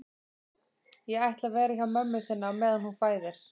Ég ætla að vera hjá mömmu þinni á meðan hún fæðir